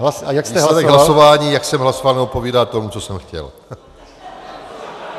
Výsledek hlasování, jak jsem hlasoval, neodpovídá tomu, co jsem chtěl.